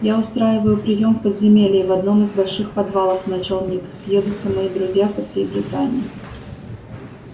я устраиваю приём в подземелье в одном из больших подвалов начал ник съедутся мои друзья со всей британии